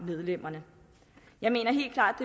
medlemmerne jeg mener helt klart